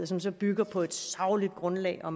som så bygger på et sagligt grundlag og